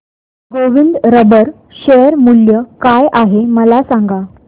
Govind rubber share मूल्य काय आहे मला सांगा